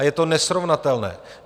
A je to nesrovnatelné.